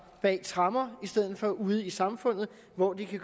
bag tremmer i stedet for ude i samfundet hvor de kan